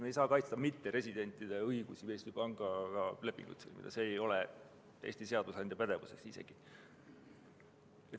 Me ei saa kaitsta mitteresidentide õigust Eesti pangaga lepingut sõlmida, see ei ole Eesti seadusandja pädevuses.